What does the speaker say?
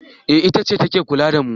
eh itace ta ke kula da mu